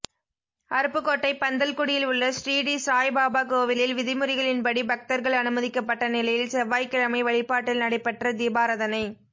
அருப்புக்கோட்டை பந்தல்குடியில் உள்ள ஸ்ரீடி சாய்பாபா கோவிலில் விதிமுறைகளின்படி பக்தர்கள் அனுமதிக்கப்பட்ட நிலையில் செவ்வாய்க்கிழமை வழிபாட்டில் நடைபெற்ற தீபாராதனை